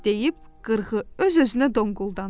deyib qırğı öz-özünə donquldandı.